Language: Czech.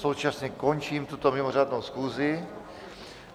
Současně končím tuto mimořádnou schůzi.